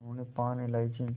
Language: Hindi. उन्होंने पान इलायची